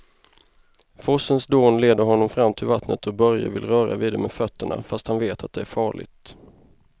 Forsens dån leder honom fram till vattnet och Börje vill röra vid det med fötterna, fast han vet att det är farligt.